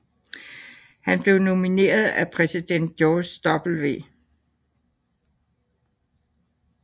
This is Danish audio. Han blev nomineret af præsident George W